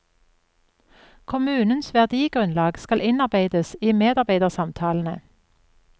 Kommunens verdigrunnlag skal innarbeides i medarbeidersamtalene.